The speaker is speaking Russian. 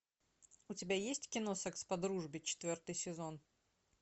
у тебя есть кино секс по дружбе четвертый сезон